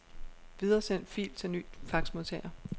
Videresend fil til ny faxmodtager.